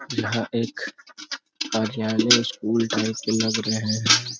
यहाँ एक कार्यालय स्कूल टाइप के लग रहे हैं ।